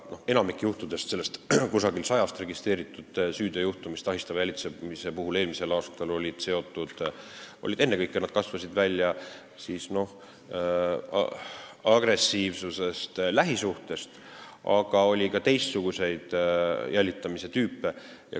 Enamik kuskil sajast registreeritud ahistava jälitamise süüteojuhtumist eelmisel aastal kasvasid ennekõike välja agressiivsusest lähisuhtes, aga oli ka teistsuguseid jälitamise tüüpe.